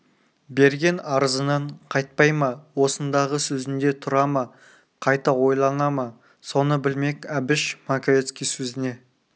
берген арызынан қайтпай ма осындағы сөзінде тұра ма қайта ойлана ма соны білмек әбіш маковецкий сөзіне